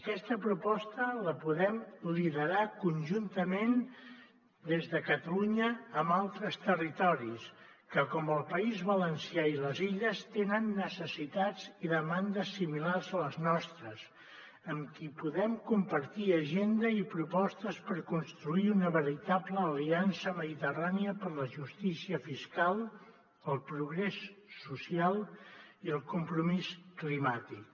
aquesta proposta la podem liderar conjuntament des de catalunya amb altres territoris que com el país valencià i les illes tenen necessitats i demandes similars a les nostres amb qui podem compartir agenda i propostes per construir una veritable aliança mediterrània per a la justícia fiscal el progrés social i el compromís climàtic